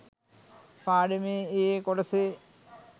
පාඩමේ ඒ, ඒ කොටසේ